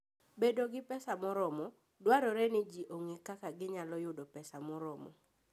Bedo gi pesa moromo: Dwarore ni ji ong'e kaka ginyalo yudo pesa moromo.